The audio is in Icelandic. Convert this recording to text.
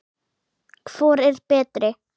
Hvor er betri?